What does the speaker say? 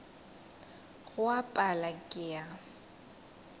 go a pala ke a